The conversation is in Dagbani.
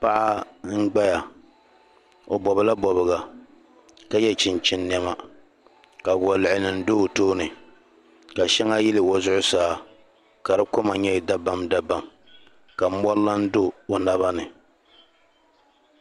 Paɣa n-ɡbaya o bɔbila bɔbiɡa ka ye chinchini nɛma ka waluɣunima do o tooni ka shɛŋa yili o zuɣusaa ka di koma nyɛ dabamdabam ka mɔri lan do o naba ni